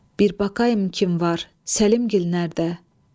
Bir baxım kim var Səlimgil nədə?